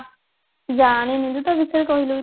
ଜାଣିନି ରେ ତା ବିଷୟରେ କହିଲୁ କିଛି